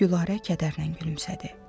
Gülarə kədərlə gülümsədi.